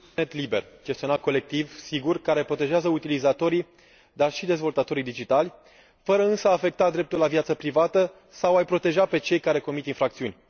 Internet liber, gestionat colectiv, sigur care protejează utilizatorii, dar și dezvoltatorii digitali, fără însă a afecta dreptul la viața privată sau a i proteja pe cei care comit infracțiuni.